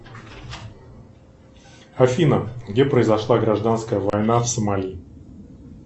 афина где произошла гражданская война в сомали